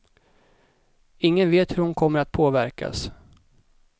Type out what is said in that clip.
Ingen vet hur hon kommer att påverkas.